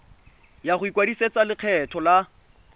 ya go ikwadisetsa lekgetho la